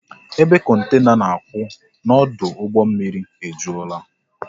Ebe kontena na-akwụ n'ọdụ ụgbọ mmiri ejulaa